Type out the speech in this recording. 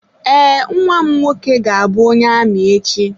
Ee, nnwa m nwoke ga-abụ onye amị echi.